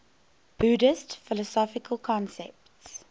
buddhist philosophical concepts